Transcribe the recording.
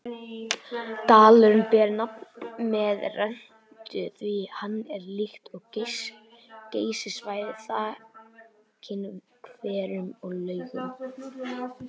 Dalurinn ber nafn með rentu því hann er líkt og Geysissvæðið þakinn hverum og laugum.